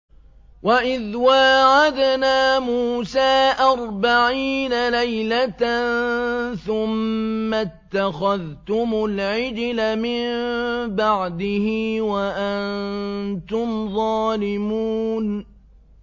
وَإِذْ وَاعَدْنَا مُوسَىٰ أَرْبَعِينَ لَيْلَةً ثُمَّ اتَّخَذْتُمُ الْعِجْلَ مِن بَعْدِهِ وَأَنتُمْ ظَالِمُونَ